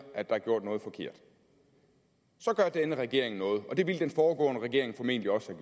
at der er gjort noget forkert så gør denne regering noget og det ville den foregående regering formentlig også